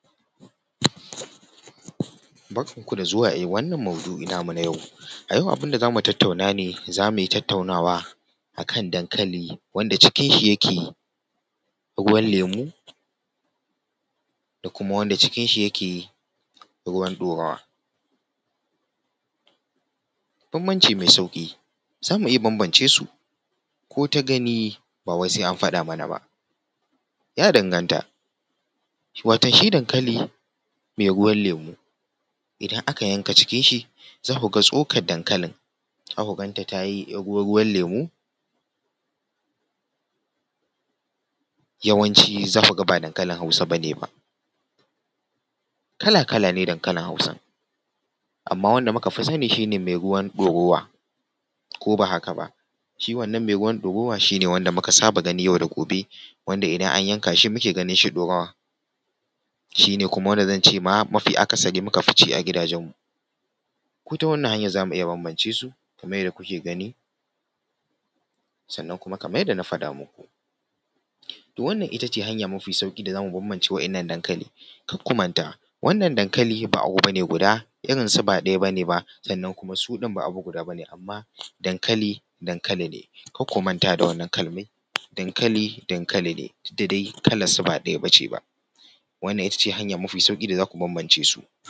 Barkanku da zuwa wannan maudu'i namu na yau. A yau abin da zamu tattaunawa ne, za mu tattauna akan dankali wanda cikin shi yake ruwan lemu da kuma wanda cikin shi yake ruwan ɗorawa. Bambanci mai sauƙi, zamu iya bambancesu ko ta gani ba wai sai an faɗa mana ba. Ya danganta, wato shi dankali mai ruwan lemu idan aka yanka cikin shi za ku ga tsokan dankalin za ku ganta ta yi 'yar ruwa-ruwan lemu, yawanci za ku ga ba dankalin Hausa bane ba. Kala-kala ne dankalin Hausa, amma wanda muka fi sani shi ne mai ruwan ɗorawa, ko ba haka ba, shi wannan mai ruwan ɗorawa shi ne mu ka saba gani yau da gobe, wanda idan an yanka shi muke ganin shi ɗorawa, shi ne ma wanda zan ce muka fi ci a gidajenmu. ko ta wannan hanyan zamu iya bambance su kamar yadda kuke gani, sannan kuma kamar yadda na faɗa muku. To wannan ita ce hanya mafi sauƙi da zamu bambance wa'innan dankali. kar ku manta, wannan dankali ba abu bane guda irinsu ba ɗaya bane ba, sannan kuma su ɗin ba abu guda bane, amma dankali dankali ne. kar ku manta da wannan kalman, dankali dankali ne, duk da dai kalar su ba ɗaya bace ba. wannan ita ce hanya mafi sauƙi da za ku iya bambance su.